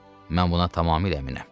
Mən buna tamamilə əminəm.